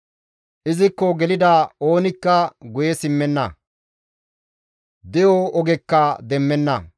Izikko gelida oonikka guye simmenna; de7o ogekka demmenna.